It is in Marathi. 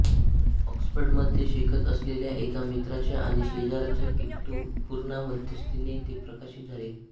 ऑक्सफर्डमध्ये शिकत असलेल्या एका मित्राच्या आणि शेजाऱ्याच्या किट्टू पूर्णा मध्यस्थीने ते प्रकाशित झाले